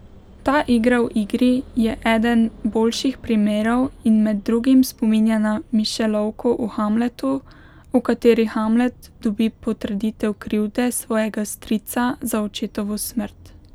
Ta igra v igri je eden boljših primerov in med drugim spominja na Mišelovko v Hamletu, v kateri Hamlet dobi potrditev krivde svojega strica za očetovo smrt.